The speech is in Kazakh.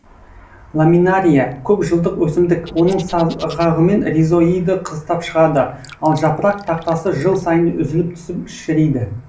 ламинария көп жылдық өсімдік оның сағағымен ризоиды қыстап шығады ал жапырақ тақтасы жыл сайын үзіліп түсіп шіриді